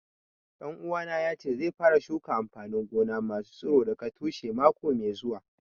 Ɗan uwana ya ce zai fara shuka amfanin gona ma su tsiro daga tushe mako mai zuwa